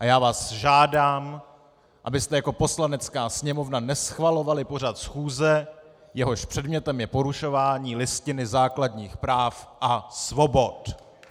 A já vás žádám, abyste jako Poslanecká sněmovna neschvalovali pořad schůze, jehož předmětem je porušování Listiny základních práv a svobod.